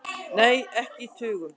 Nei, ekki í tugum.